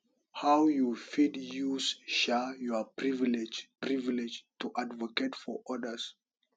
how you fit use um your privilege privilege to advocate for odas